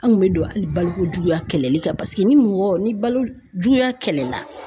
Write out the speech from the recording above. An kun bɛ don hali balokojuguya kɛlɛli kan paseke ni mɔgɔ ni balo juguya kɛlɛla